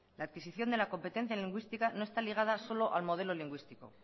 la adquisición de la competencia lingüística no está ligada solo al modelo lingüístico